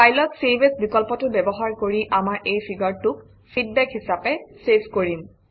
File অত save as বিকল্পটো ব্যৱহাৰ কৰি আমাৰ এই ফিগাৰটোক ফিডবেক হিচাপে চেভ কৰিম